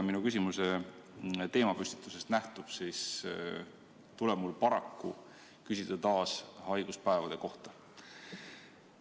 Nagu mu küsimuse teemapüstitusest nähtub, tuleb mul paraku küsida taas haiguspäevade kohta.